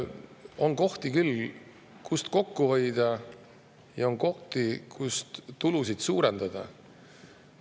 On kohti küll, kust kokku hoida, ja on kohti, kus tulusid suurendada.